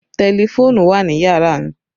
Tẹlifóònùn wà ní yàrá mi